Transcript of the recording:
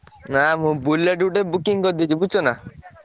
ନା ମୁଁ Bullet ଗୋଟେ booking କରିଦେଇଚି ବୁଝୁଛନା।